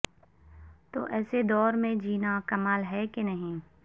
تو ایسے دور میں جینا کمال ہے کہ نہیں